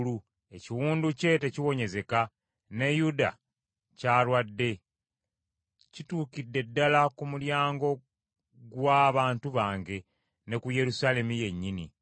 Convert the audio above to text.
Ekiwundu kye tekiwonyezeka, ne Yuda ky’alwadde. Kituukidde ddala ku mulyango gw’abantu bange, ne ku Yerusaalemi yennyini.